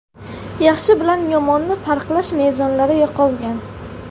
Yaxshi bilan yomonni farqlash mezonlari yo‘qolgan.